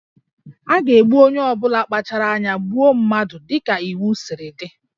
A ga-egbu onye ọ bụla kpachaara anya gbuo mmadụ dị ka iwu siri dị